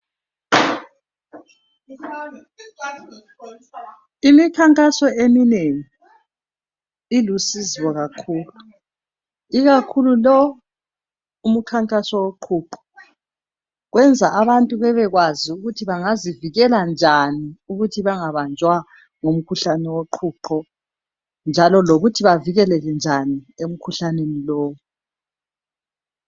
Imikhankaso eminengi ilusizo kakhulu, ikakhulu lo umkhankaso woqhuqho. Kwenza abantu bebekwazi ukuthi bangazivikela njani ukuthi bangabanjwa ngukhuhlane woqhuqho njalo lokuthi bavikeleke njani emkhuhlaneni lowu.